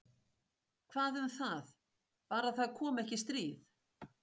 Hvað um það- bara það komi ekki stríð.